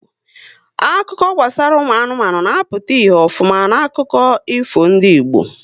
Akụkọ gbasara ụmụ anụmanụ na-apụta ihe ofuma n'akụkọ ifo ndị Igbo